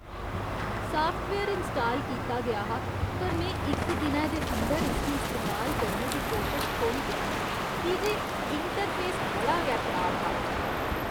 Software install कीता गेआ हा पर में इक दिनै दे अंदर इसगी इस्तेमाल करने दी कोशश छोड़ी दित्ती की जे इंटरफेस बड़ा गै खराब हा।